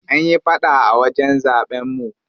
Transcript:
An yi faɗa a wajen zaɓen mu.